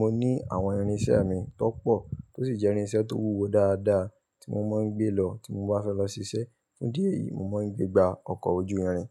mo ní àwọn irinṣẹ́ mi tó pọ̀ tó sì jẹ́ irinṣẹ́ tó wúwo dáadáa tí mo máa ń gbé lọ tí mo bá fẹ́ lọ ṣiṣẹ́. Fún ìdí èyí mo máa ń gbé gbá ọkọ̀ ojú irin.